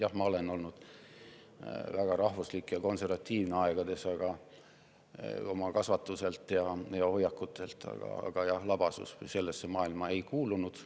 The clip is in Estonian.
Jah, ma olen olnud väga rahvuslik ja konservatiivne, oma kasvatuselt ja hoiakutelt, aga labasus sellesse maailma ei kuulunud.